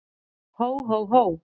Hó, hó, hó!